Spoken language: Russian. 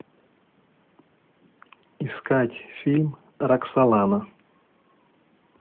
искать фильм роксолана